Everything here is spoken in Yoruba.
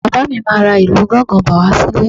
Bàbá mi máa ra ìlù gángan bọ̀ wá sílé